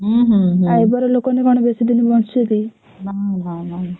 ଆଉ ଏବର ଲୋକମାନେ କଣ ବେଶୀଦିନ ବଞ୍ଚୁଛନ୍ତି